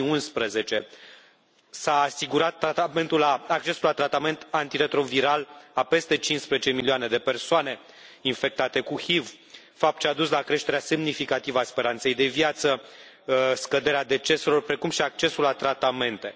2011. S a asigurat accesul la tratament antiretroviral a peste 15 milioane de persoane infectate cu HIV, fapt ce a dus la creșterea semnificativă a speranței de viață, scăderea deceselor, precum și accesul la tratamente.